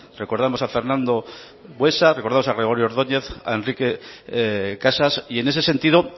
recordarnos a fernando buesa recordamos a gregorio ordoñez a enrique casas en ese sentido